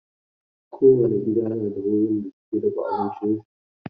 Kowane gida na da wurin da suke dafa abincinsu.